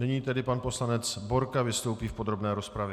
Nyní tedy pan poslanec Borka vystoupí v podrobné rozpravě.